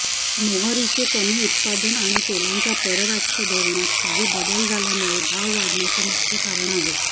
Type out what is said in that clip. मोहरीचे कमी उत्पादन आणि तेलांच्या परराष्ट्र धोरणात काही बदल झाल्यामुळे भाव वाढण्यामागचे मुख्य कारण आहे